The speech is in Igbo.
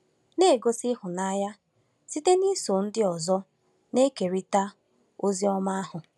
Na-egosi ịhụnanya site n’iso ndị ọzọ na-ekerịta ozi ọma ahụ